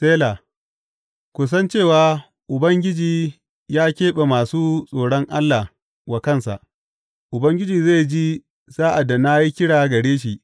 Sela Ku san cewa Ubangiji ya keɓe masu tsoron Allah wa kansa; Ubangiji zai ji sa’ad da na yi kira gare shi.